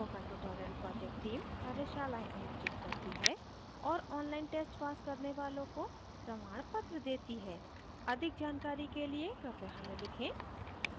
spoken tutorial project team कार्यशालाएं आयोजित करती है और online tests pass करने वालों को प्रमाणपत्र देती है अधिक जानकारी के लिए कृपया हमें लिखें